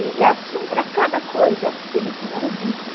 E assim, para cada coisa, ele tinha um dito.